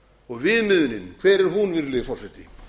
og viðmiðunin hver er hún virðulegi forseti